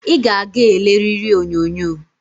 I ga-aga eleriri onyonyo